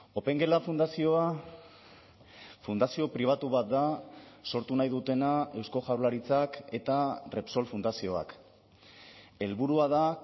opengela fundazioa fundazio pribatu bat da sortu nahi dutena eusko jaurlaritzak eta repsol fundazioak helburua da